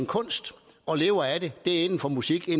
kunst og lever af den det er inden for musikken